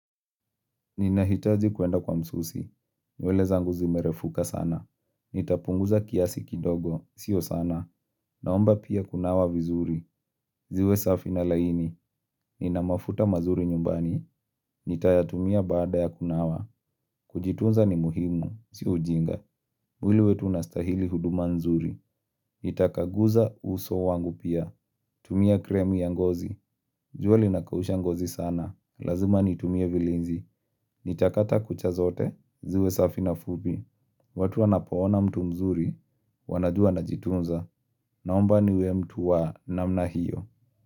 Ninahitazi kuenda kwa msusi, nywele zangu zimerefuka sana. Nitapunguza kiasi kidogo, sio sana. Naomba pia kunawa vizuri, ziwe safi na laini, ninamafuta mazuri nyumbani, nitayatumia baada ya kunawa. Kujitunza ni muhimu, si ujinga. Mwili wetu unastahili huduma nzuri, nitakaguza uso wangu pia, tumia kremu ya ngozi, jua linakausha ngozi sana. Lazima nitumie vilinzi. Nitakata kucha zote, ziwe safi na fupi. Watu wanapoona mtu mzuri. Wanajua anajitunza, naomba niwe mtu wa namna hiyo.